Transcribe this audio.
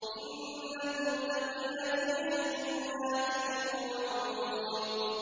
إِنَّ الْمُتَّقِينَ فِي جَنَّاتٍ وَعُيُونٍ